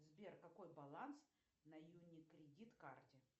сбер какой баланс на юни кредит карте